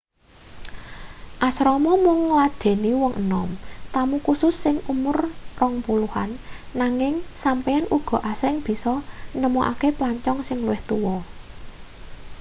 asrama mung ngladheni wong enom tamu khusus sing umur rong puluhan nanging sampeyan uga asring bisa nemokake plancong sing luwih tuwa